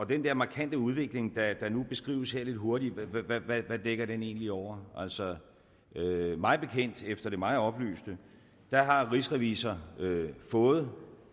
den der markante udvikling der nu beskrives her lidt hurtigt hvad hvad dækker den egentlig over altså mig bekendt efter det mig oplyste har rigsrevisor fået